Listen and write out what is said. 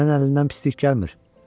Sənin əlindən heç nə gəlmir.